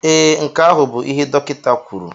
Ee, nke ahụ bụ ihe dọkịta kwuru